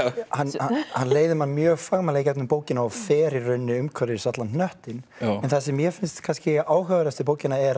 hann hann leiðir mann mjög fagmannlega í gegnum bókina og fer í rauninnni umhverfis allan hnöttinn en það sem mér finnst kannski áhugaverðast við bókina er